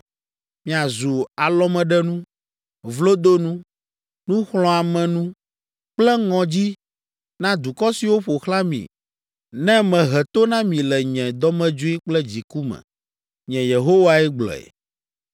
Miazu alɔmeɖenu, vlodonu, nuxlɔ̃amenu kple ŋɔdzi na dukɔ siwo ƒo xlã mi ne mehe to na mi le nye dɔmedzoe kple dziku me. Nye Yehowae gblɔe.